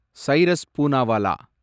Cyrus Poonawalla